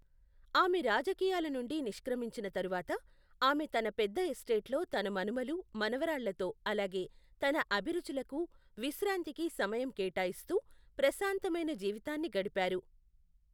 ఆమె రాజకీయాల నుండి నిష్క్రమించిన తరువాత, ఆమె తన పెద్ద ఎస్టేట్లో తన మనుమలు, మనవరాళ్లతో అలాగే తన అభిరుచులకు, విశ్రాంతికి సమయం కేటాయిస్తూ ప్రశాంతమైన జీవితాన్ని గడిపారు.